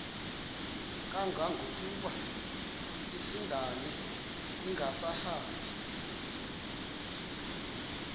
kangangokuba isindane ingasahambi